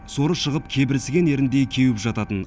соры шығып кебірсіген еріндей кеуіп жататын